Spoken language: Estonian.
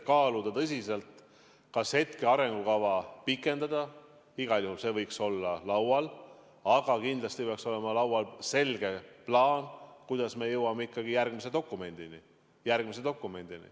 Ma arvan, et praeguse arengukava pikendamine võiks igal juhul olla laual, aga kindlasti peaks olema laual selge plaan, kuidas me jõuame järgmise dokumendini.